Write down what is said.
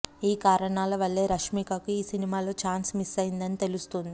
ఈ కారణాల వల్లే రష్మికకు ఈ సినిమాలో ఛాన్స్ మిస్ అయిందని తెలుస్తోంది